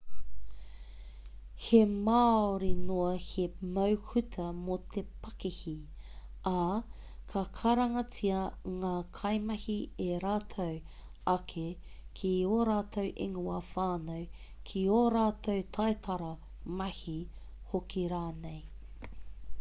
he māori noa te mau hūtu mō te pakihi ā ka karangatia ngā kaimahi e rātou ake ki ō rātou ingoa whānau ki ō rātou taitara mahi hoki rānei